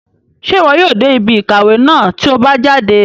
Ṣe iwọ yóò dé ibí ìkàwé náà ti o bá jáde?